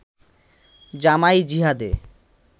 জামাঈ জিহাদে